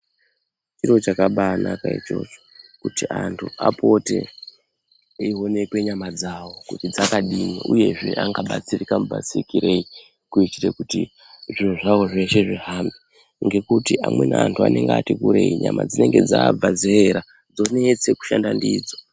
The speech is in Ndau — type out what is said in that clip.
Chiro chakaba anka ichocho kuti apote eionekwa nyama dzawo kuti dzakadini uyezve angabatsirika mubatsirikei kuitire kuti zviro zvawo zveshe zvihambe ngekuti amweni anhu anenge ati kureeyi nyama dzinenge dzabva zera dzonesa kushanda ndidzo .